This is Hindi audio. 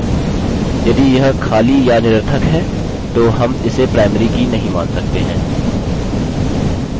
यदि यह खाली या निरर्थक है तो हम इसे primary की नहीं मान सकते हैं